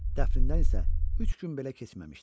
Dəfnindən isə üç gün belə keçməmişdi.